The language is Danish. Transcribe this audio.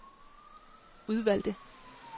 udvalgte